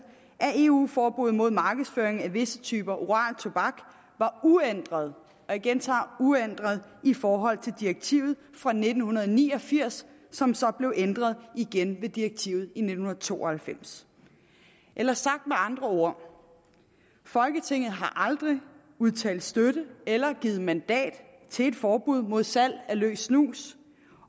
at eu forbud mod markedsføring af visse typer oral tobak var uændret og jeg gentager uændret i forhold til direktivet fra nitten ni og firs som så blev ændret igen med direktivet i nitten to og halvfems eller sagt med andre ord folketinget har aldrig udtalt støtte eller givet mandat til et forbud mod salg af løs snus